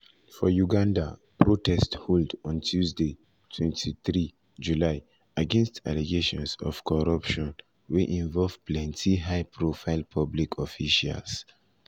for uganda protest hold on tuesday 23 july against allegations of corruption wey involve plenty high profile public officials.